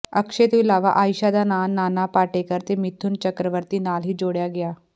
ਅਕਸ਼ੈ ਤੋਂ ਇਲਾਵਾ ਆਇਸ਼ਾ ਦਾ ਨਾਂ ਨਾਨਾ ਪਾਟੇਕਰ ਤੇ ਮਿਥੁਨ ਚੱਕਰਵਰਤੀ ਨਾਲ ਹੀ ਜੋੜਿਆ ਗਿਆ